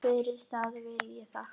Fyrir það vil ég þakka.